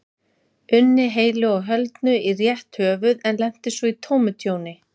unni heilu og höldnu í rétt höfuð en lenti svo í tómu tjóni.